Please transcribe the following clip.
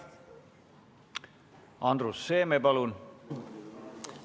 Andrus Seeme, palun!